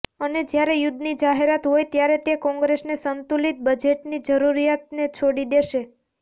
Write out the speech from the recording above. અને જ્યારે યુદ્ધની જાહેરાત હોય ત્યારે તે કોંગ્રેસને સંતુલિત બજેટની જરૂરિયાતને છોડી દેશે